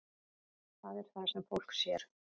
Það er það sem fólk sér.